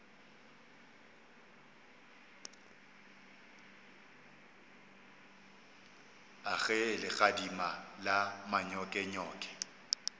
a ge legadima la manyokenyoke